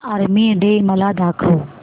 army day मला दाखव